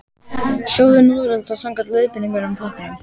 Sjóðið núðlurnar samkvæmt leiðbeiningum á pakkanum.